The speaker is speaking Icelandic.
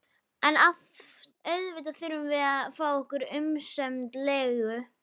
En auðvitað þurftum við að fá okkar umsömdu leigu.